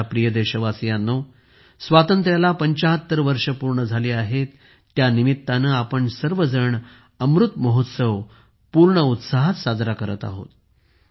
माझ्या प्रिय देशवासियांनो स्वातंत्र्याला 75 वर्षे पूर्ण झाली आहेत त्या निमित्ताने आपण सर्वजण अमृत महोत्सव पूर्ण उत्साहात साजरा करत आहोत